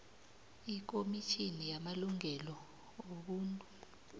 ikomitjhini yamalungelo wobuntu